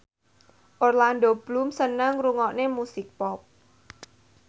Orlando Bloom seneng ngrungokne musik pop